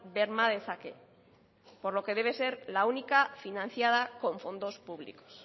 berma dezake por lo que debe ser la única financiada con fondos públicos